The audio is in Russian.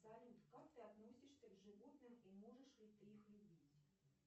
салют как ты относишься к животным и можешь ли ты их любить